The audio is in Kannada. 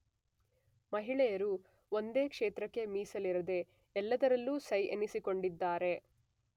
ಮಹಿಳೆಯರು ಒಂದೇ ಕ್ಷೇತ್ರಕ್ಕೆ ಮಿಸಲಿರದೇ ಎಲ್ಲದರಲ್ಲು ಸೈ ಎನ್ನಿಸಿಕೊಂಡಿದ್ದಾರೆ